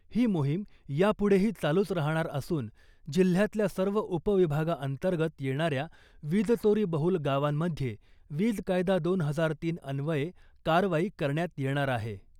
ही मोहिम यापुढेही चालूच राहणार असून जिल्ह्यातल्या सर्व उपविभागाअंतर्गत येणाऱ्या वीजचोरी बहूल गावांमध्ये वीज कायदा दोन हजार तीन अन्वये कारवाई करण्यात येणार आहे .